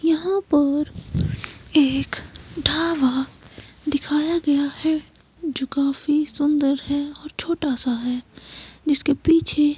यहां पर एक ढाबा दिखाया गया है जो काफी सुंदर है और छोटा सा है जिसके पीछे --